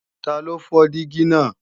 Taló fọ́ dígí náà